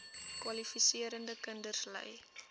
kwalifiserende kinders ly